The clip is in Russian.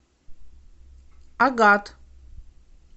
агат